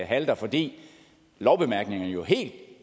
halter fordi lovbemærkningerne jo helt